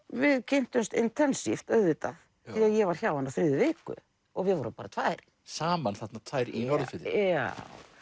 við kynntumst auðvitað því ég var hjá henni á þriðju viku og við vorum bara tvær saman þarna tvær í Norðurfirði já